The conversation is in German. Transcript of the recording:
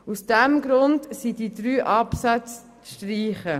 Aus diesem Grund sind die drei Absätze zu streichen.